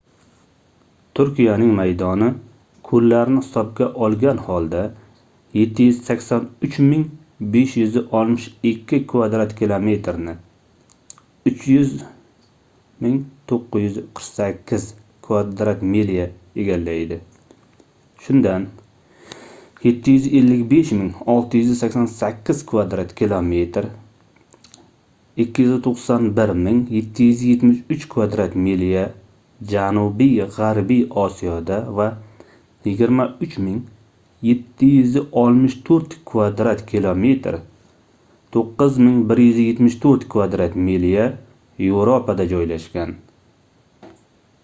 turkiyaning maydoni ko'llarni hisobga olgan holda 783 562 kvadrat kilometerni 300 948 kvadrat milya egallaydi shundan 755 688 kvadrat kilometr 291 773 kvadrat milya janubiy g'arbiy osiyoda va 23 764 kvadrat kilometr 9174 kvadrat milya yevropada joylashgan